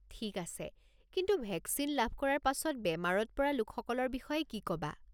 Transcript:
ঠিক আছে, কিন্তু ভেকচিন লাভ কৰাৰ পাছত বেমাৰত পৰা লোকসকলৰ বিষয়ে কি ক'বা?